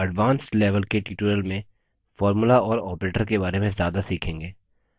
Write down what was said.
हम advanced level के tutorials में formulae और operators के बारे में ज्यादा सीखेंगे